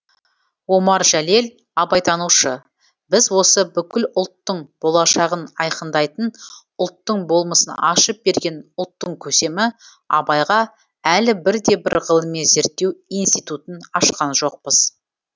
омар жәлел абайтанушы біз осы бүкіл ұлттың болашағын айқындайтын ұлттың болмысын ашып берген ұлттың көсемі абайға әлі бірде бір ғылыми зерттеу институтын ашқан жоқпыз